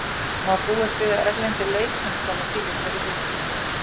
Má búast við að erlendir leikmenn komi til ykkar í vikunni?